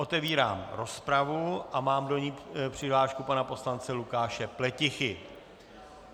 Otevírám rozpravu a mám do ní přihlášku pana poslance Lukáše Pletichy.